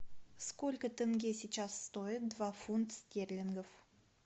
сколько тенге сейчас стоит два фунта стерлингов